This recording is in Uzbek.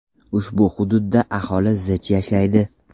Ushbu hududda aholi zich yashaydi.